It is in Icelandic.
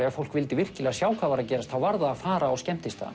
ef fólk vildi virkilega sjá hvað var að gerast varð það að fara á skemmtistaðina